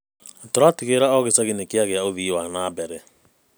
Tũratigĩrĩra o gĩcagi nĩ kĩragĩa ũthii wa na mbere.